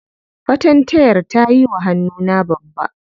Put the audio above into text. Fatantayar ta yiwa hannuna babba.